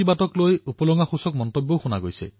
মন কী বাত এক প্ৰত্যাশী ভাৰত মহত্বকাংক্ষী ভাৰতৰ কথা